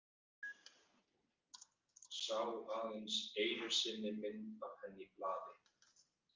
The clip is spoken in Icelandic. Sá aðeins einu sinni mynd af henni í blaði.